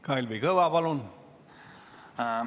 Kalvi Kõva, palun!